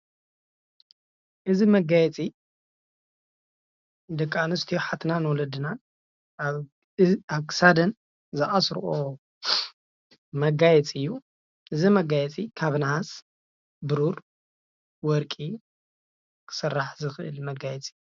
እዚ መጋየፂ ደቂ ኣነስትዮ ኣሓትናን ወለድናን ኣብ ክሳደን ዝኣስረኦ መጋየፂ እዩ፡፡ እዚ መጋየፂ ካብ ናሃስ፣ ብሩር፣ ወርቂ ክስራሕ ዝክእል መጋየፂ እዩ፡፡